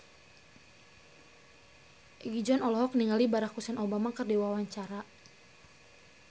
Egi John olohok ningali Barack Hussein Obama keur diwawancara